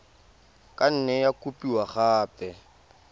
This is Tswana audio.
ka nne ya kopiwa gape